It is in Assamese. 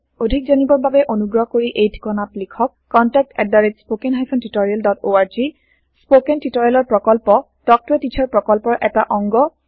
অধিক জানিবৰ বাবে অনুগ্ৰহ কৰি এই ঠিকনাত লিখক contactspoken tutorialorg স্পৌকেন টিওটৰিয়েলৰ প্ৰকল্প তাল্ক ত a টিচাৰ প্ৰকল্পৰ এটা অংগ